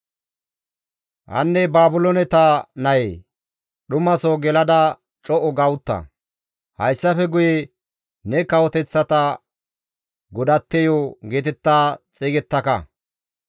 «Hanne Baabilooneta nayee, dhumaso gelada co7u ga utta; hayssafe guye ne kawoteththata godatteyo geetetta xeygettaka.